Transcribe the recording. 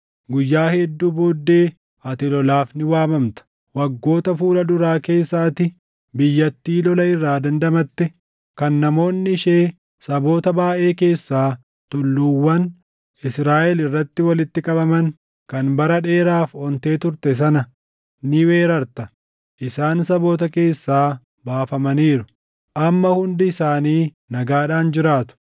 Guyyaa hedduu booddee ati lolaaf ni waamamta. Waggoota fuula duraa keessa ati biyyattii lola irraa dandamatte, kan namoonni ishee saboota baayʼee keessaa tulluuwwan Israaʼel irratti walitti qabaman, kan bara dheeraaf ontee turte sana ni weerarta Isaan saboota keessaa baafamaniiru; amma hundi isaanii nagaadhaan jiraatu.